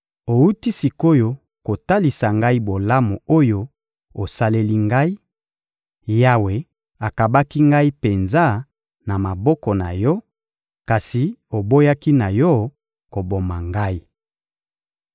Owuti sik’oyo kotalisa ngai bolamu oyo osaleli ngai: Yawe akabaki ngai penza na maboko na yo, kasi oboyaki na yo koboma ngai.